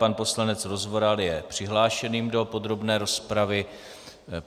Pan poslanec Rozvoral je přihlášen do podrobné rozpravy.